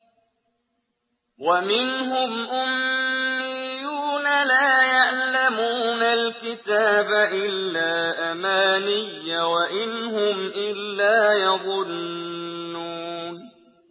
وَمِنْهُمْ أُمِّيُّونَ لَا يَعْلَمُونَ الْكِتَابَ إِلَّا أَمَانِيَّ وَإِنْ هُمْ إِلَّا يَظُنُّونَ